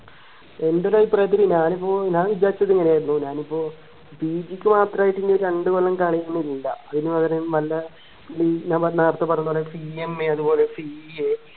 എൻറെ ഒരു അഭിപ്രായത്തില് ഞാനിപ്പോ ഞാൻ വിചാരിച്ചത് ഇങ്ങനെയായിരുന്നു ഇപ്പോ PG ക്ക് മാത്രയിട്ട് ഇനിയൊരു രണ്ടുകൊല്ലം കളയണില്ല അതിനു പകരം വല്ല ഞാൻ നേരത്തെ പറഞ്ഞ പോലെ CMA അതുപോലെ CA